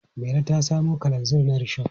Mairo ta samo kalanzir na rishon.